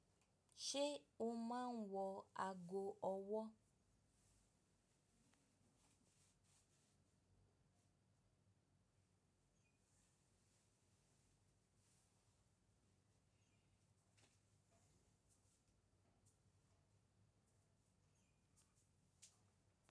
Ṣé o máa ń wọ aago ọwọ́?